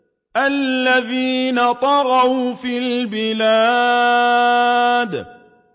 الَّذِينَ طَغَوْا فِي الْبِلَادِ